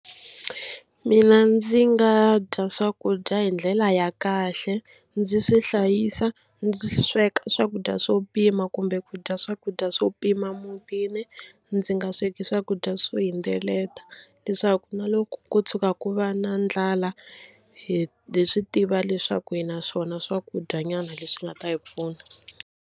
Mina ndzi nga dya swakudya hi ndlela ya kahle ndzi swi hlayisa ndzi sweka swakudya swo pima kumbe ku dya swakudya swo pima mutini. Ndzi nga sweka swakudya swo hindzeleta leswaku na loko ko tshuka ku va na ndlala hi hi swi tiva leswaku hi na swona swakudyanyana leswi nga ta hi pfuna.